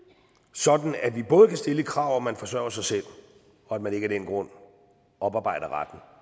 sådan at vi både kan stille et krav om at man forsørger sig selv og at man ikke af den grund oparbejder retten